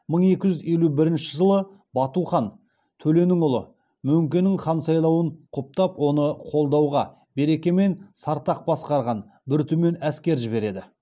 мың екі жүз елу бірінші жылы бату хан төленің ұлы мөңкенің хан сайлануын құптап оны қолдауға берке мен сартақ басқарған бір түмен әскер жібереді